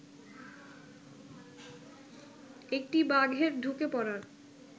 একটি বাঘের ঢুকে পড়ার